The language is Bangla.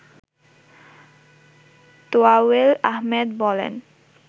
তোয়ায়েল আহমেদ বলেন